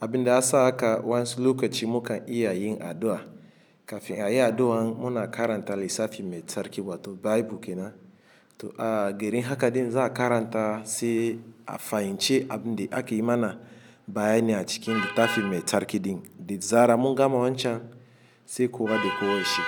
abin da ya sa haka wa insu lokaci muka iya yin addu'a. Kafin a yi addu'an mu na karanta lissafi mai tsarki wato Bible kenan. To a garin haka din za a karanta sai a fahimci abin da aka yi mana bayani a cikin littafin mai tsarki din, da zarar mun gama wancan sai gobe da kowa ya shiga.